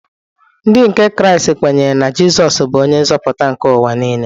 Ndị nke Kraịst kwenyere na Jizọs bụ onye nzọpụta nke ụwa nile.